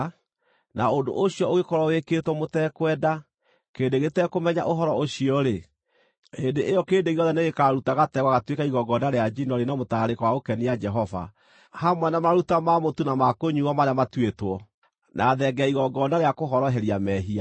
na ũndũ ũcio ũngĩkorwo wĩkĩtwo mũtekwenda, kĩrĩndĩ gĩtekũmenya ũhoro ũcio, hĩndĩ ĩyo kĩrĩndĩ gĩothe nĩgĩkaruta gategwa gatuĩke igongona rĩa njino rĩna mũtararĩko wa gũkenia Jehova, hamwe na maruta ma mũtu na ma kũnyuuo, marĩa matuĩtwo, na thenge ya igongona rĩa kũhoroheria mehia.